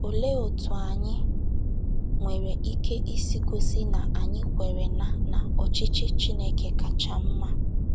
Olee otú anyị nwere ike isi gosị na anyị kwere na na ọchịchị Chineke kacha mma?